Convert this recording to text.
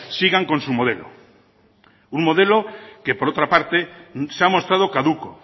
sigan con su modelo un modelo que por otra parte se ha mostrado caduco